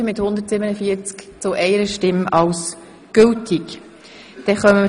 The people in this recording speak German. Sie haben die Initiative für gültig erklärt.